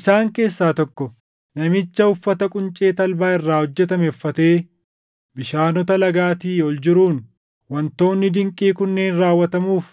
Isaan keessaa tokko namicha uffata quncee talbaa irraa hojjetame uffatee bishaanota lagaatii ol jiruun, “Waantonni dinqii kunneen raawwatamuuf